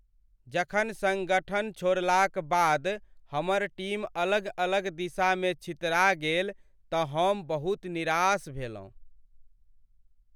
जखन सङ्गठन छोड़लाक बाद हमर टीम अलग अलग दिशामे छितरा गेल तँ हम बहुत निराश भेलहुँ।